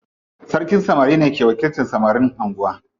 Sarkin samari ne ke wakiltan samarin anguwa.